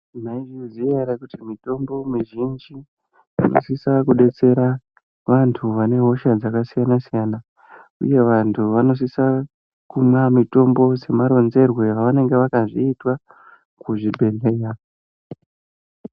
Mwaizviziya ere kuti mitombo mizhinji inosisa kudetsera vantu vane hosha dzakasiyana siyana uye vantu vanosisa kumwa mitombo semaronzerwe avanenge vakazviitwa kuzvibhedhlera.